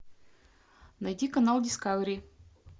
найти канал дискавери